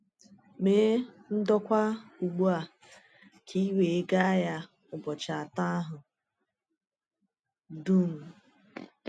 Mee ndokwa ugbu à ka ì wee gaa ya ụbọchị atọ àhụ dum.